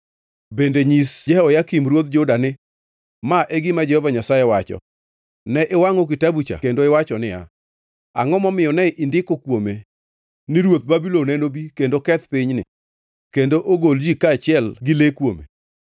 Bende nyis Jehoyakim ruodh Juda ni, ‘Ma e gima Jehova Nyasaye wacho: Ne iwangʼo kitabucha kendo iwacho niya, “Angʼo momiyo ne indiko kuome ni ruodh Babulon enobi kendo keth pinyni kendo ogol ji kaachiel gi le kuome?”